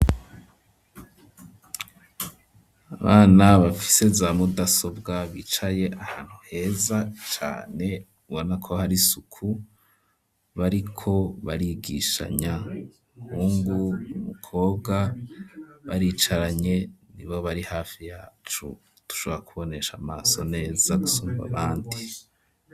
Abana bafise za mudasobwa bicaye ahantu heza cane ubona ko hari isuku bariko barigishanya hungu umukobwa baricaranye nibo bari hafi yacu dushora kubonesha amaso neza gusumvya abandi.